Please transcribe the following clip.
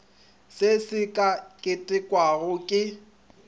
se se ka ketekwago ke